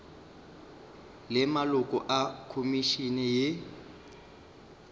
le maloko a khomišene ye